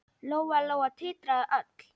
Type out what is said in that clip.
Lóa-Lóa titraði öll.